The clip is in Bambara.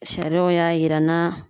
Sariyaw y'a yira n na.